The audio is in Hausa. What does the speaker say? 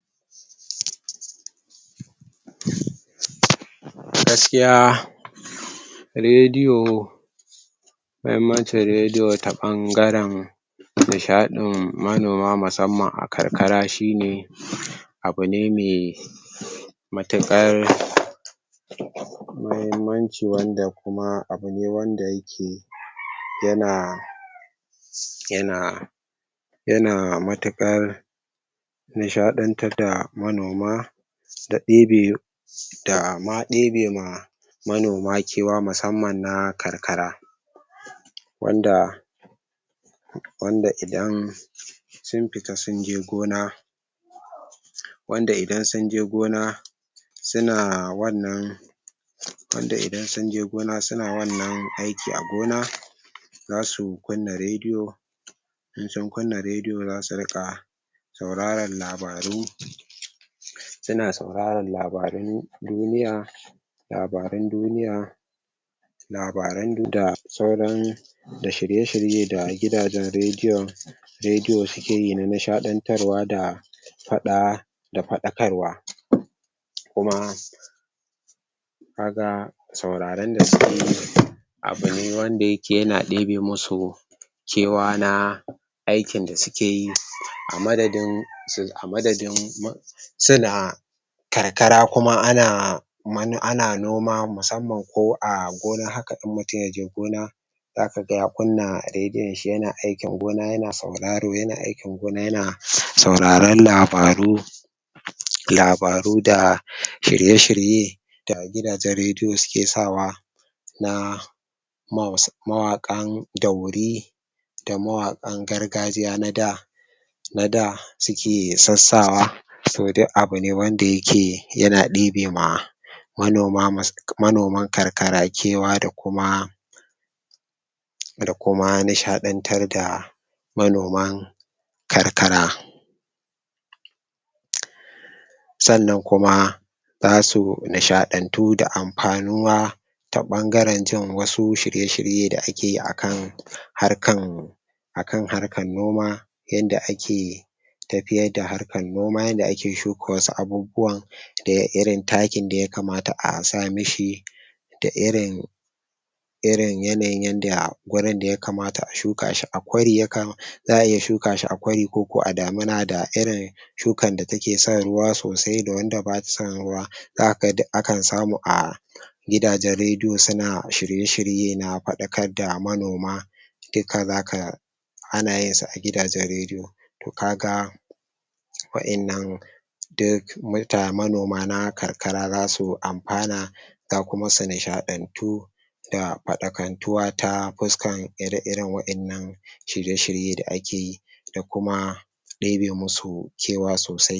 Gaskiya rediyo muhummancin rediyo ta ɓangaren nishaɗin manoma musamman a karkara shine abune me matuƙar muhimmanci wanda kuma abune wanda yake yana yana yana matuƙar nishaɗantar da manoma, ya ɗebe dama ɗebe ma manoma kewa musamman na karkara. Wanda wanda idan sun fita sunje gona wanda idan sunje gona suna wannan wanda idan sunje gona suna wannan aiki a gona zasu kunna rediyo in sun kunna rediyo zasu riƙa sauraran labaru suna suraron labarun duniya labarun duniya labaru da suran da shirye-shirye da gidajen rediyon rediyo sukeyi na nishaɗantarwa da faɗa da faɗakarwa kuma kaga suraron da sukeyi abune wanda yake yana ɗebe masu kewa na aikin da sukeyi a madadin a madadin suna karkara kuma ana ana noma musamman ko a gona haka in mutum yaje gona zakaga ya kunna rediyon shi yana aikin gona yana sauraro yana aikin gona yana sauraron labaru labaru da shirye-shirye da gidajen rediyo suke sawa na mawaƙan daure da mawaƙan gargajiya na da na da suke sassawa to duk abune wanda yana ɗebe ma manoma manoman karkara kewa da kuma da kuma nishaɗantar da manoman karkara. sannan kuma zasu nishaɗantu da amfanuwa ta ɓangaren jin wasu shirye-shire da akeyi akan harkan akan harkan noma yanda ake tafiyar da harkan noma yanda ake shuka wasu abubuwan da irin takin da yakamata a sa mashi da irin irin yanayin yanda gurin da ya kamata a shuka shi a kwari yaka za'a iya shukashi a kwari koko a damana da irin shukan da takeson ruwa sosai da wanda bata son ruwa zakaga duk akan samu a gidajen rediyo suna shirye-shirye na faɗakar da manoma duka zaka anayin su a gidajen rediyo. To kaga wa'innan duk manoma na karkara zasu amfana za kuma su nishaɗantu da faɗakantuwa ta fuskan ire-iren wa'innan shirye-shirye da akeyi da kuma ɗebe masu kewa sosai.